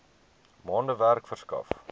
maande werk verskaf